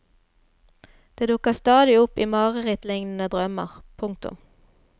Det dukker stadig opp i marerittlignende drømmer. punktum